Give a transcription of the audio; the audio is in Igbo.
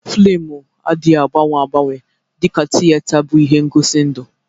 Fịlmụ adịghị agbanwe agbanwe dịka tiyeta bụ ihe ngosi ndụ.